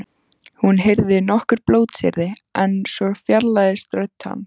Hún heyrði nokkur blótsyrði en svo fjarlægðist rödd hans.